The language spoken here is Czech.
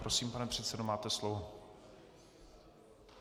Prosím, pane předsedo, máte slovo.